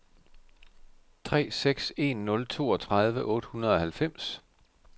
tre seks en nul toogtredive otte hundrede og halvfems